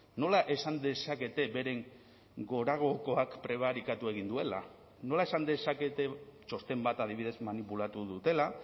nola esan dezakete beren goragokoak prebarikatu egin duela nola esan dezakete txosten bat adibidez manipulatu dutela